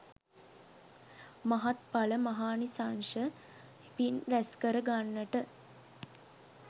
මහත්ඵල මහානිසංශ පින් රැස්කර ගන්නට